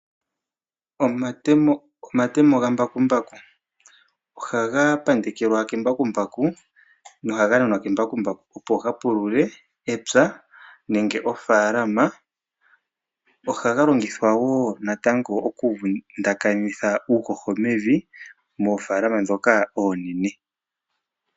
Omatemo gambakumbaku, ohaga pandekelwa kembakumbaku nohaga nanwa kembakumbaku opo ga pulule epya nenge ofaalama. Ohaga longithwa wo natango okuvundakitha uuhoho mevi moofaalama ndhoka oonene.